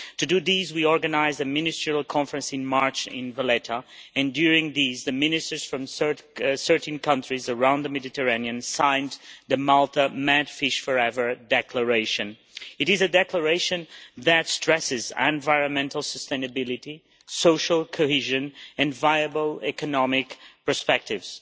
To do this, we organised a ministerial conference in March in Valletta and during this the ministers from 13 countries around the Mediterranean signed the Malta MedFish4Ever Declaration. This is a declaration that stresses environmental sustainability, social cohesion and viable economic perspectives.